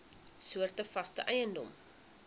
soorte vaste eiendom